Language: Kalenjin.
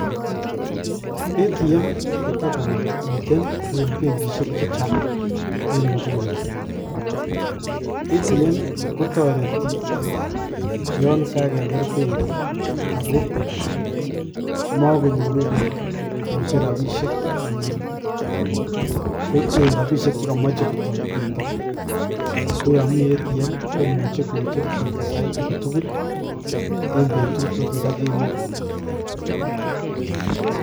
ATM ko tokomiten eng benkisiek chechang eng inguni, ATM kotoretii yon kagegeer benkii ako mokonyoru biik kocher rabisiek chekomoche, KO yon mitten atm komuch kocher chito saitagetugul akot indo kemoi